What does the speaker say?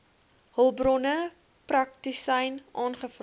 hulpbronne praktisyn aangevra